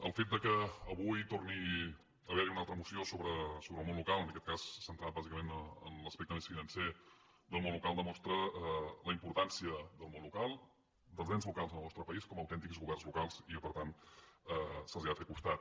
el fet que avui torni a haver·hi una altra moció sobre el món local en aquest cas centrada bàsicament en l’aspecte més fi·nancer del món local demostra la importància del món local dels ens locals del nostre país com a autèntics governs locals i que per tant se’ls ha de fer costat